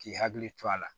K'i hakili to a la